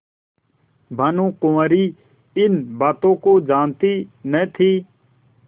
भानुकुँवरि इन बातों को जानती न थी